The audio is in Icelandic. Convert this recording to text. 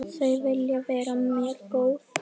Þau vilja vera mér góð.